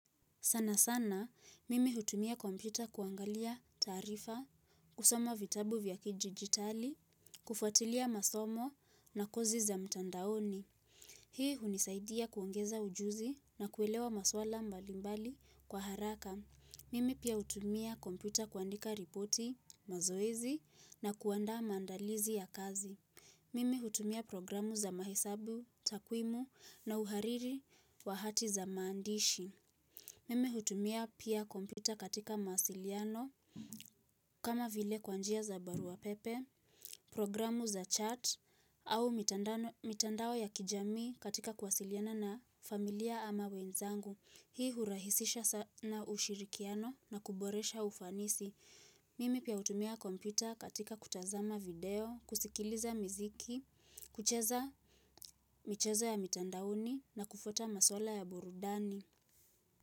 Sana sana, mimi hutumia kompyuta kuangalia taarifa, kusoma vitabu vya kidijitali, kufatilia masomo na kozi za mtandaoni. Hii hunisaidia kuongeza ujuzi na kuelewa maswala mbalimbali kwa haraka. Mimi pia hutumia kompyuta kuandika ripoti, mazoezi na kuandaa mandalizi ya kazi. Mimi hutumia programu za mahesabu, takwimu na uhariri wa hati za maandishi. Mimi hutumia pia kompyuta katika mawasiliano kama vile kwa njia za barua pepe, programu za chat au mitandao ya kijami katika kuwasiliana na familia ama wenzangu. Hii hurahisisha sana ushirikiano na kuboresha ufanisi. Mimi pia hutumia kompyuta katika kutazama video, kusikiliza miziki, kucheza michezo ya mitandaoni na kufuata masuala ya burudani.